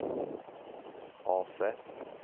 AC